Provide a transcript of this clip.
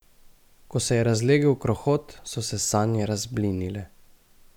Ko se je razlegel krohot, so se sanje razblinile.